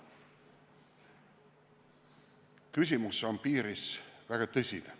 Piiriküsimus on väga tõsine.